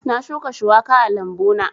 Na shuka shuwaka a lambu na